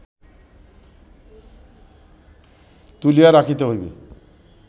তুলিয়া রাখিতে হইবে